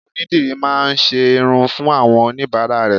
Onídìrí má a ńṣe irun fún àwọn oníbàárà rè